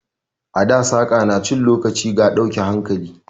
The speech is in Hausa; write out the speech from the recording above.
A da saƙa na cin lokaci ga dauke hankali.